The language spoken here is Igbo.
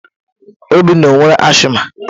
Obinna ọ nwere asiịma?